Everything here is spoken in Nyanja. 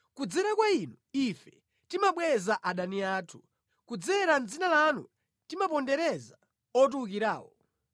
Kudzera kwa inu ife timabweza adani athu; kudzera mʼdzina lanu timapondereza otiwukirawo.